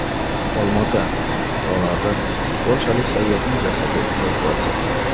Olmaota tog‘laridan polshalik sayyohning jasadi evakuatsiya qilindi .